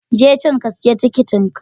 Je can ka siya tikitin ka.